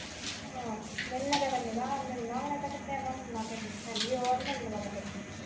ਅਹ ਮਿਲਣ ਗਏ ਤਾਂ ਮਿਲਣਾ ਹੈ ਉਹ ਹਨੀ ਮਿਲਣ ਵਾਲੇ ਕਿਸੇ ਨੂੰ।